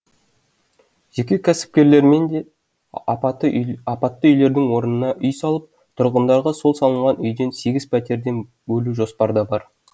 жеке кәсіпкерлермен де апатты үйлердің орнына үй салып тұрғындарға сол салынған үйден сегіз пәтерден бөлу жоспарда бар